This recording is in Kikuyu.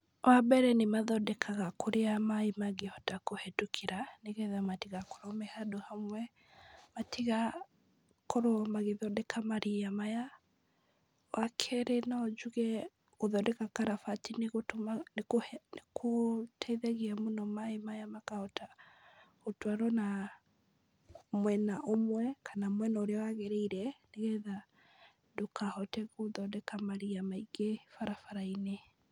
Wa mbere nĩmathondekaga kũrĩa maaĩ mangĩhota kũhĩtũkĩra, nĩgetha matigakorwo me handũ hamwe, matigakorwo magĩthondeka maria maya , wa kerĩ no njuge , gũthondeka karabati nĩgũtũma, nĩkũhe , nĩgũteithagia mũno maaĩ maya makahota gũtwarwo na mwena ũmwe, kana mwena ũrĩa wagĩrĩire nĩgetha ndũkahote gũthondeka maria maingĩ barabara-inĩ.